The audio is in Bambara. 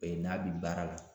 O ye n'a bi baara la